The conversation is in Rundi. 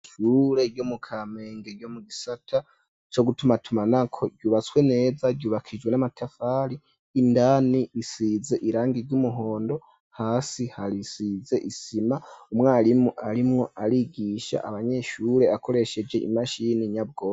ishure ryo mu kamenge ryo mu gisata co gutumatumanako ryubatswe neza ryubakishijwe n'amatafari indani risize irangi ry'umuhondo hasi hasize isima umwarimu arimwo arigisha abanyeshure akoresheje imashini nyabwonko